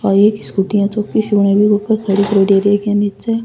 और एक स्कूटी है चौकी सी बनायोडी बीके ऊपर खड़ी करियोडी और एक इया नीचे।